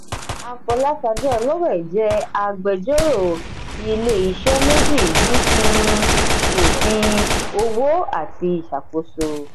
afolasade olowe jẹ́ agbẹjọ́rò ilé-iṣẹ́ méjì ní um òfin òwò àti ìṣàkóso.